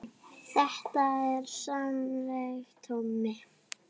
Þetta er semsagt Tommi